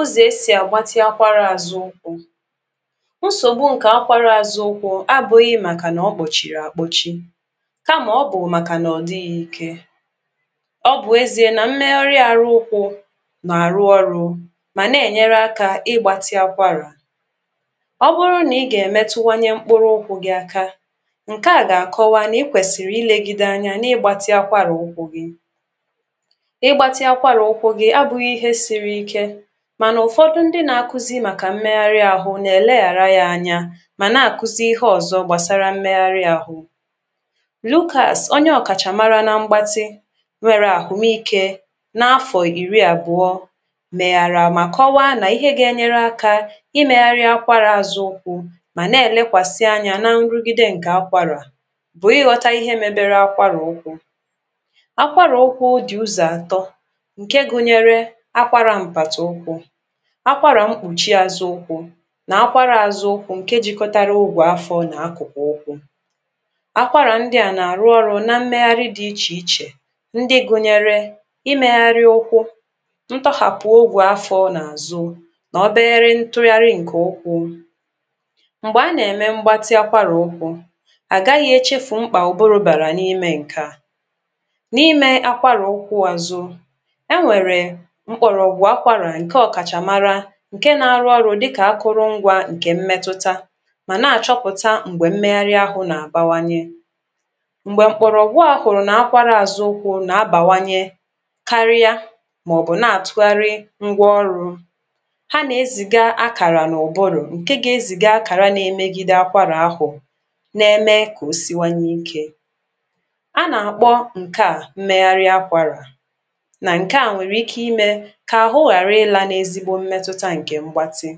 ú̙zò̙ é sì̙ à gbātī̙ ākwārā àzū̙ ú̙kwū̙ ńsògbū ǹkè ākwārā zū̙ ū̙kwū̙ á bū̙ ghī̙ màkànà ó̙ kpò̙chì̙rì̙ à kpō̙chī̙ kámà ó̙ bù̙ màkànà ò̙ dɪ̄ ghī̙ īkē ó̙ bù̙ ēzē nà ḿméhárí̙ āhū̙ ú̙kwū̙ nà:rū̙ ó̙rū̙ mà nè: nyērē ákā ɪ́ gbātī̙ ākwārà ó̙ bú̙rú̙ n ī̙ gà è mé̙tú̙wá nyé ḿkpú̙rú̙ ú̙kwū̙ gì̙ ākā ǹke à gà kó̙wá nà í kwèsìrì lēgīdē ānyā nà i gbati̙ ákwárá ū̙kwū̙ í̙gbātī̙ ákwárà ú̙kwū̙ gī̙ á bū̙ ghī̙ īhē sīrīkē mànà ù̙fō̙dū̙ ńdí̙ nā kwū̙zī̙ màkà ḿméhárɪ́ āhū nè lē hàrā jā ānyā hà nâ kwú̙zí̙ íhé ò̙zō̙ gbàsārā ḿméhárɪ́ āhū Lú̙kàs ónyé ò̙kàchà mārā nā ḿ̩gbátí̙ rè̙rà ò mé īkē náfò̙ ì̙rī̙ àbʊ̀ɔ̄ mèjàrà mà kó̙wá nà íhe g(a) ē nyéré ákā í mēharī̄ ákwárā àzʊ̄ ú̙kwū̙ mànê: lékwàsí̙ ányā ná ńrú̙gɪ́dɛ́ ǹkē ákwàrà bù̙ í̙ ghō̙tā íhé mēbērē ákwàrà ú̙kwū̙ ákwàrà ú̙kwū̙ dì̙ ú̙zɔ̀ àtō̙ ǹké gū̙nyē̙rē̙ ákwàrà m̀pàtì̙ ú̙kwū̙ ákwàrà ḿ̩kpù̙chī̙ āzú̙ ú̙kwū̙ nà ákwárā āzū̙ ǹke jī̙kō̙tārā ú̙gʷù̙ áfō̙ nà ákwù̙kwù̙ ó̙kwū̙ ákwárà ńdí̙ à nà rú̙ ó̙rū̙ ná ḿméhárí̙ dī̙ íchèichè ńdí̙ gwū̙nyē̙rē̙ í mēhārī̙ ū̙kwū̙ ńtó̙hàpū̙ ōgū̙ áfō̙ nà àzū̙ tò̙ óbé̙ré̙ ńtú̙járí̙ ǹkè ú̙kwū̙ m̀gbē á nà èmē̙ ḿgbátí̙ ápárà ú̙kwū̙ à gá ɣɪ̄ é chéfù ḿkpà óbórō bàrà nímé ǹkè â nímē ákwárà ū̙kwū̙ àzū̙ é̙ nwè̙rè̙ ḿk͡ò̙̀ ò̙gʷù̙ ákwàrà ǹké ò̙kàchà mārā ǹkè unā rú̙ ó̙rū̙ dí̙kà ákwú̙rú̙ ígwē ǹkɛ̀ ḿmɛ́tútā mà ná à chó̙pù̙tā m̀g͡bè̙ ḿme̙hárí̙ āhū̙ nà bāwānye m̩̀gbè̙ m̀kpò̙rò̙ hu̙a hù̙ru̙nà nà ákwárā àzū̙ ú̙kwū̙ á bàwányē̙ kárɪ́á mò̙bù̙ ná à tú̙hárí̙ ú̙gwɔ́ ó̙rū̙ há ne zì̙gā ákàrà nà ò̙bū̙rù̙ ǹké gā ē zì̙gā ákàrà na ēmēgīdē ákàrà áhū n émé kà ó sí̙wá nu íkē á nà kpó̙ ǹ̩ké̙ à ḿméhárí̙ ákwàrà nà ǹke â nwè̙rè̙ íké í̙ mɛ̄ kà àhú̙ hàrí lā n ézígbóté m̩mɛtʊta ǹkè̙ ḿgbátí̙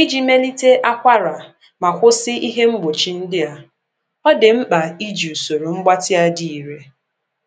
í̙ jī mēlītē ákwárà mà hósí íhé ḿg͡bù̙chī̙ ńdí à ó̙ dì̙ ḿk͡pà í̙ jì sòrō ḿg͡bátí̙ dí̙ʊ̄ rē̙